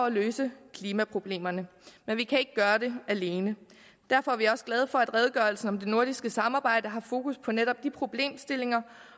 at løse klimaproblemerne men vi kan ikke gøre det alene derfor er vi også glade for at redegørelsen om det nordiske samarbejde har fokus på netop de problemstillinger